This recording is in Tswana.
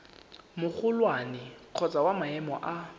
magolwane kgotsa wa maemo a